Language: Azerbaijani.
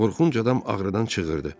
Qorxunc adam ağrıdan çığırdı.